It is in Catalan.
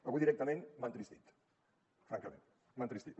avui directament m’ha entristit francament m’ha entristit